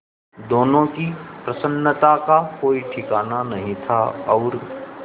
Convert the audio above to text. दोनों की प्रसन्नता का कोई ठिकाना नहीं था और